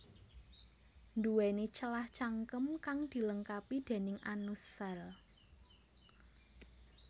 Nduwéni celah cangkem kang dilengkapi déning anus sèl